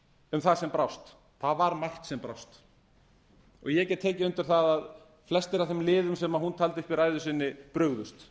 um það sem brást það var margt sem brást ég get tekið undir það að flestir af þeim liðum sem hún taldi upp í ræðu sinni brugðust